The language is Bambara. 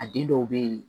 A den dɔw bɛ yen